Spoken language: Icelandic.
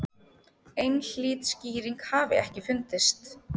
Einhlít skýring hafi ekki fundist.